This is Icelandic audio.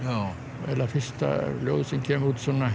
eiginlega fyrsta ljóðið sem kemur út